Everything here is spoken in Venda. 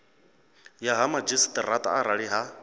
ya ha madzhisiṱaraṱa arali ha